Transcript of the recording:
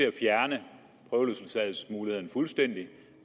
at fjerne prøveløsladelsesmuligheden fuldstændig